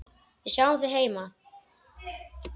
Við sjáum þig heima.